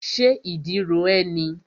Ṣé ìdí ro ẹ́ ni?